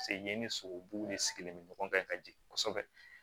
yen ni sogobu de sigilen bɛ ɲɔgɔn kan ka jigin kosɛbɛ